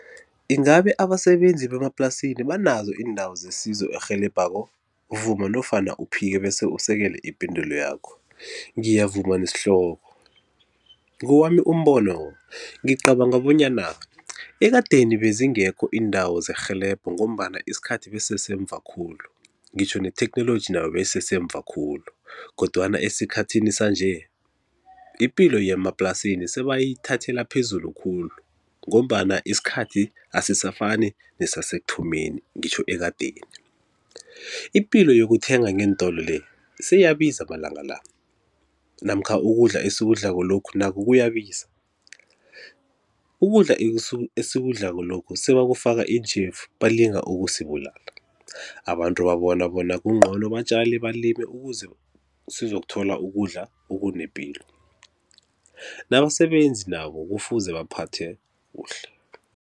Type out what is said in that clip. Ingabe abasebenzi bemaplasini banazo iindawo zesizo erhelebhako? Vuma nofana uphike bese usekele ipendulo yakho. Ngiyavuma nesihloko. Ngowami umbono ngicabanga bonyana ekadeni bezingekho iindawo zerhelebho ngombana isikhathi besi sesemva khulu, ngitjho ne-technology nayo beyisesemva khulu kodwana esikhathini sanje ipilo yemaplasini sebayithathela phezulu khulu ngombana isikhathi asisafani nesasekuthomeni ngitjho ekadeni. Ipilo yokuthenga ngeentolo le seyiyabiza amalanga la namkha ukudla esikudlako lokhu nakho kuyabiza, ukudla esikudlako lokhu sebakufaka iintjhefu balinga ukusibulala. Abantu babona bona kuncono batjale, balime ukuze sizokuthola ukudla okunepilo. Nabasebenzi nabo kufuze baphathwe kuhle.